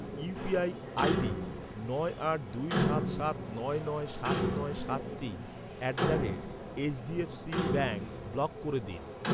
UPI ID নয় আট দুই সাত সাত নয় নয় সাত নয় সাত তিন at the rate HDFC bank block করে দিন।